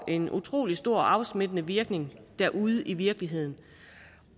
en utrolig stor afsmittende virkning derude i virkeligheden